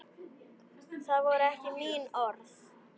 Það voru ekki mín orð.